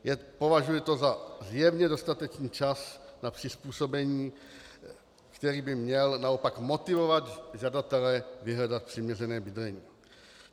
Považuji to za zjevně dostatečný čas na přizpůsobení, který by měl naopak motivovat žadatele vyhledat přiměřené bydlení.